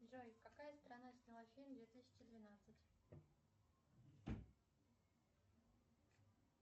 джой какая страна сняла фильм две тысячи двенадцать